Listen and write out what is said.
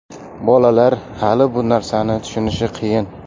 Bolalar hali bu narsani tushunishi qiyin.